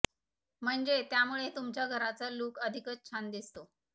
म्हणजे त्यामुळे तुमच्या घराचा लूक अधिकच छान दिसतो